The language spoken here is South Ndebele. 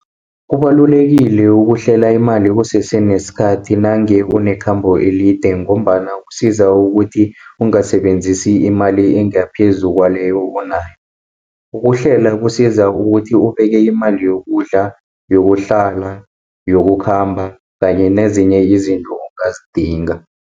Kubalulekile ukuhlela imali kusese nesikhathi nange unekhambo elide, ngombana kusiza ukuthi ungasebenzisi imali engaphezu kwaleyo onayo. Ukuhlela kusiza ukuthi ubeke imali yokudla, yokuhlala, yokukhamba kanye nezinye izinto ongazidinga.